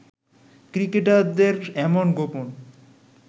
ক্রিকেটারদের এমন গোপন